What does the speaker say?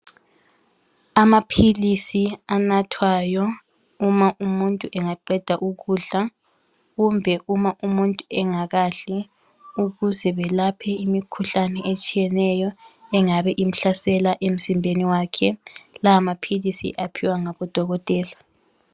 Amapills anathwayo uma umuntu engaqeda ukudla kumbe umuntu engakadli ukuze belaphele imikhuhlane etshiyeneyo engabe imhlasela emzimbeni wakhe lawomapills uwaphiwa ngodokotela